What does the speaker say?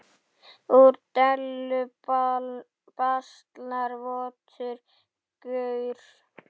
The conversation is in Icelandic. Úr dellu baslar votur gaur.